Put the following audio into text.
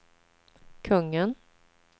kungen